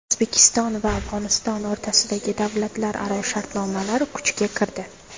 O‘zbekiston va Afg‘oniston o‘rtasidagi davlatlararo shartnomalar kuchga kirdi.